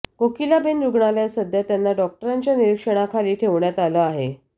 कोकिलाबेन रुग्णालयात सध्या त्यांना डॉक्टरांच्या निरीक्षणाखाली ठेवण्यात आलं आहे